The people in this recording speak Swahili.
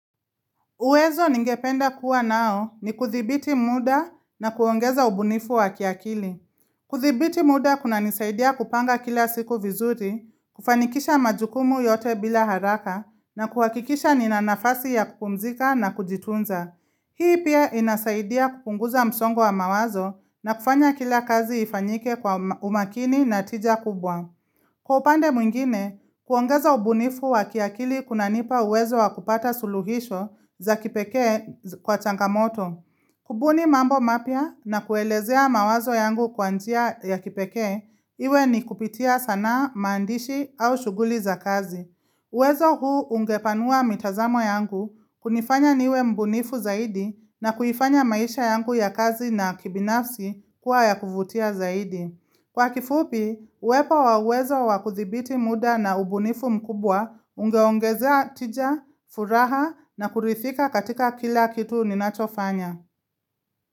Uwezo ningependa kuwa nao ni kuthibiti muda na kuongeza ubunifu wa kiakili. Kuthibiti muda kunanisaidia kupanga kila siku vizuri, kufanikisha majukumu yote bila haraka, na kuhakikisha nina nafasi ya kupumzika na kujitunza. Hii pia inasaidia kupunguza msongo wa mawazo na kufanya kila kazi ifanyike kwa umakini na tija kubwa. Kwa upande mwingine, kuongeza ubunifu wa kiakili kunanipa uwezo wa kupata suluhisho za kipekee kwa changamoto. Kubuni mambo mapya na kuelezea mawazo yangu kwa njia ya kipeke, iwe ni kupitia sanaa maandishi au shuguli za kazi. Uwezo huu ungepanua mitazamo yangu kunifanya niwe mbunifu zaidi na kuifanya maisha yangu ya kazi na kibinafsi kuwa ya kuvutia zaidi. Kwa kifupi, uwepo wa uwezo wa kuthibiti muda na ubunifu mkubwa ungeongezea tija, furaha na kurithika katika kila kitu ninachofanya.